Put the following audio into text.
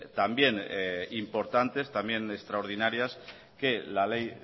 también importantes también extraordinarias que la ley